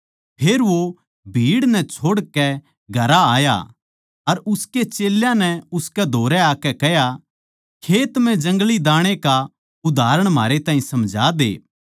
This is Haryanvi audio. फेर वो भीड़ नै छोड़कै घरां आया अर उसके चेल्यां नै उसकै धोरै आकै कह्या खेत म्ह जंगली दाणै का उदाहरण म्हारै ताहीं समझा दे